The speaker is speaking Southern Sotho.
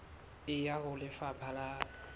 e ya ho lefapha la